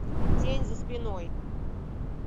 тень за спиной